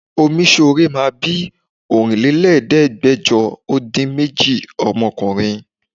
Omíṣore máa bí Ọ̀rínlélẹ́ẹ̀ẹ́dẹ́gbẹ́jọ ó dín méjì ọmọkùnrin